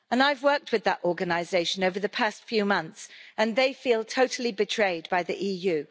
I have worked with that organisation over the past few months, and they feel totally betrayed by the EU.